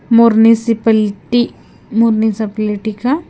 municipality municipality का --